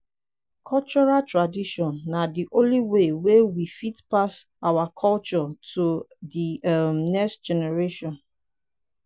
cultural tradition na di only way wey we fit take pass our culture to di um next generation